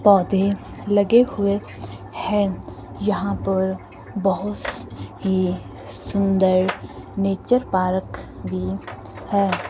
पौधे लगे हुए है यहा पर बहोस ही सुंदर नेचर पारक भी है।